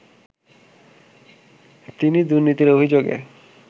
তিনি দুর্নীতির অভিযোগে